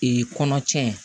kɔnɔ cɛn